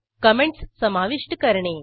comments समाविष्ट करणे